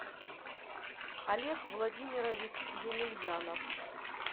олег владимирович емельянов